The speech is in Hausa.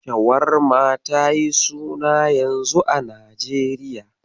Shawarma tayi suna yanzu a Najeriya.